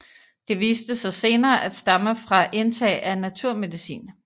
Det viste sig senere at stamme fra indtag af naturmedicin